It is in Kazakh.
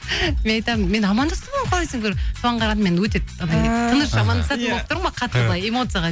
мен айтамын мен амандастым ғой ол қалай соған қарағанда мен өте анадай тыныш амандасатын болып тұрмын ғой қатты былай эмоцияға